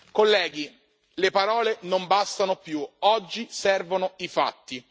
Colleghi, le parole non bastano più, oggi servono i fatti.